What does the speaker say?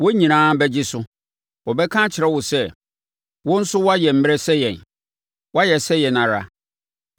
Wɔn nyinaa bɛgye so, wɔbɛka akyerɛ wo sɛ, “Wo nso woayɛ mmrɛ sɛ yɛn; woayɛ sɛ yɛn ara.”